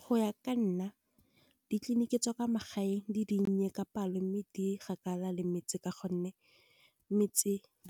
Go ya ka nna ditleliniki tsa kwa magaeng di dinnye ka palo, mme di kgakala le metse. Ka gonne